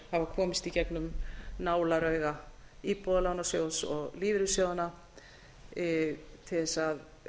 hafa komist í gengum nálarauga íbúðalánasjóðs og lífeyrissjóðanna til þess að